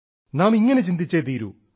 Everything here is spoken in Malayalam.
നാം ഇങ്ങനെ ചിന്തിച്ചേ തീരൂ